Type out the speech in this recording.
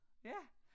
Ja